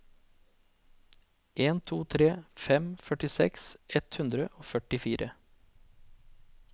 en to tre fem førtiseks ett hundre og førtifire